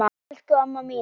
Bless, elsku amma mín.